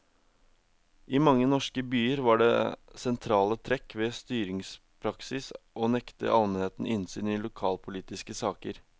I mange norske byer var det sentrale trekk ved styringspraksis å nekte almenheten innsyn i lokalpolitiske saker.